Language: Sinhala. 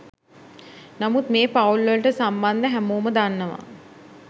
නමුත් මේ පවුල්වලට සම්බන්ධ හැමෝම දන්නවා